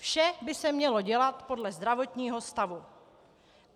Vše by se mělo dělat podle zdravotního stavu.